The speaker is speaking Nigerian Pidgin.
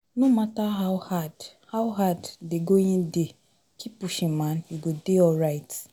No matter how hard how hard dey going dey, keep pushing man, you go dey alright